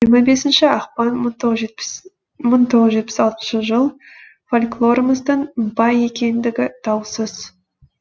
жиырма бесінші ақпан мың тоғыз жүз жетпіс алтыншы жыл фольклорымыздың бай екендігі даусыз